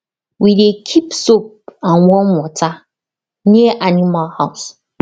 we dey keep soap and warm water near animal house